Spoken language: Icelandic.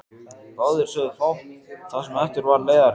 Báðir sögðu fátt það sem eftir var leiðarinnar.